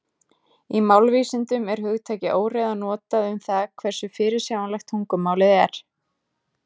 Í málvísindum er hugtakið óreiða notað um það hversu fyrirsjáanlegt tungumálið er.